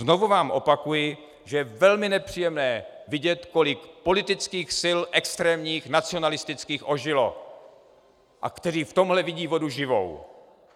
Znovu vám opakuji, že je velmi nepříjemné vidět, kolik politických sil extrémních, nacionalistických ožilo a které v tomto vidí vodu živou.